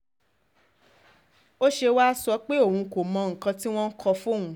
ó ṣe wáá sọ pé òun kò mọ nǹkan tí wọn kò fóun